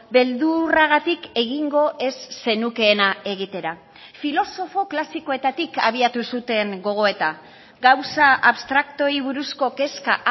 beldurragatik egingo ez zenukeena egitera filosofo klasikoetatik abiatu zuten gogoeta gauza abstraktuei buruzko kezka